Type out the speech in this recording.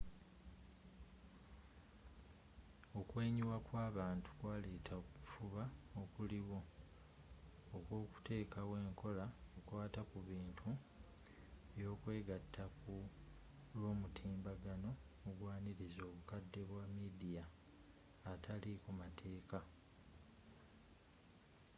okwenyiwa kw'abantu kwaletera okufuba okuliwo okwokutekawo enkola ekwata kubintu byokwegatta ku lw'omutimbagano ogwaniriza obukadde bwa midia ataliiko mateeka